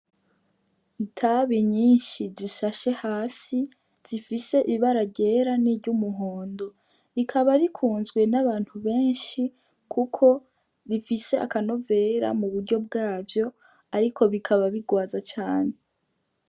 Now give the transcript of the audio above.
Itabi nyinshi zishashe hasi zifise ibara ryera niry'umuhondo, rikaba rikunzwe n' abantu benshi kuko rifise akanovera mu buryo bwavyo ariko bikaba bigwaza cane.